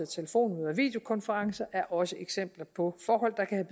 telefonmøder og videokonferencer er også eksempler på forhold der kan